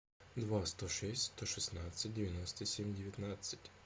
два сто шесть сто шестнадцать девяносто семь девятнадцать